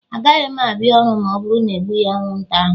Agaghị m abịa ọrụ ma ọ bụrụ na e egbughị anwụnta ahụ.